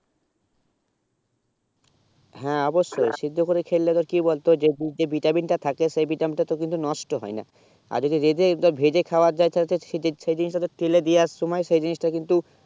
হেঁ অবসয়ে সিদ্ধ করে খেলে কি বলতো সেই যে বীজ যে vitamin তা থাকে সেই vitamin তা কিন্তু নষ্ট হয়ে না আর যদি রোজে একবার ভেজে খাবা যায় তালে তো সেই জিনিস তা তো টেলি দিয়া সময়ে সেই জিনিস তা কিন্তু